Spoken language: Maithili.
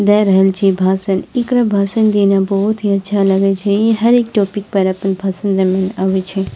दे रहल छी भाषण एकरा भाषण देना बहुत ही अच्छा लगई छई ई हर एक टॉपिक पर अपन भाषण देवे आवई छई।